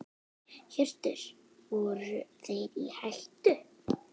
Hjörtur: Voru þeir í hættu?